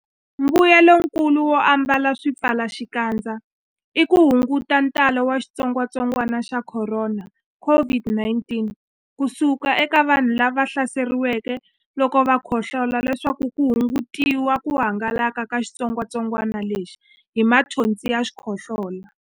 Mbuyelonkulu wo ambala swipfalaxikandza i ku hunguta ntalo wa xitsongwantsongwana xa Khorona, COVID-19, ku suka eka vanhu lava hlaseriweke loko va khohlola leswaku ku hungutiwa ku hangalaka ka xitsongwantsongwana lexi hi mathonsi ya xikhohlola.